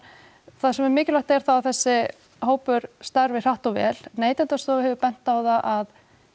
það sem er mikilvægt er það að þessi hópur starfi hratt og vel Neytendastofa hefur bent á það að